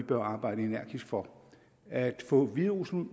bør arbejde energisk for at få hviderusland